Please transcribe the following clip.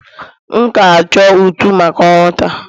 M ga-achọ ntu maka ọrụ taa